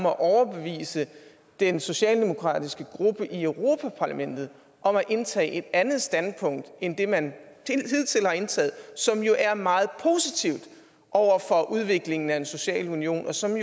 at overbevise den socialdemokratiske gruppe i europa parlamentet om at indtage et andet standpunkt end det man hidtil har indtaget som jo er meget positivt over for udviklingen af en social union og som